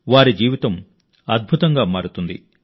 వారి జీవితం అద్భుతంగా మారుతుంది